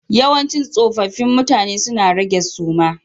Yawancin tsofaffi mutane suna rage suma